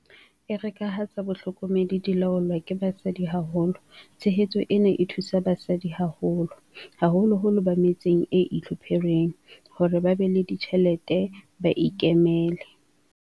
Ere ka ha tsa bohlokomedi di laolwa ke basadi haholo, tshehetso ena e thusa basadi haholo, haholoholo ba me tseng e itlhophereng, hore ba be le ditjhelete ba ikemele.